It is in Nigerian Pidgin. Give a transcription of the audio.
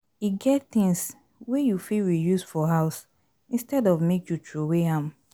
E get things wey you fit reuse for house instead of make you trowey am